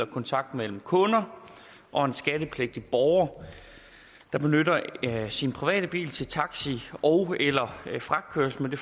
kontakt mellem kunder og en skattepligtig borger der benytter sin private bil til taxi ogeller fragtkørsel med det